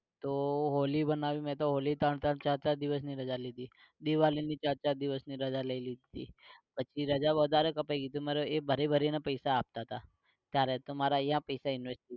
તો હોળી મનાઈ મેં તો હોળી ત્રણ ત્રણ ચાર ચાર દિવસ ની રજા લીધી દિવાળી ની ચાર ચાર દિવસ ની રજા લઇ લીધી પછી રજા વધારે કપાઈ ગઈ તો એ મને એ ભરી ભરી ને પૈસા આપતા તા ત્યારે તો મારા અઈયા પૈસા invest